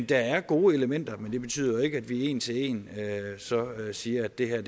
der er gode elementer men det betyder jo ikke at vi en til en siger at det her er